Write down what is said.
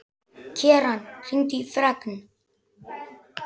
Keran, hringdu í Fregn.